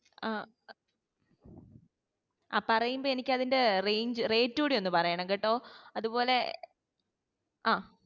അഹ് ആഹ് പറയുമ്പോ എനിക്കതിന്റെ range rate ഉടി ഒന്ന് പറയണം കേട്ടോ അതുപോലെ ഏർ